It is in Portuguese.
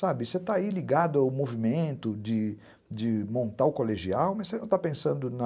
Sabe, você está aí ligado ao movimento de de montar o colegial, mas você não está pensando na...